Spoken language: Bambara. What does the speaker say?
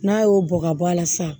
N'a y'o bɔ ka bɔ a la sa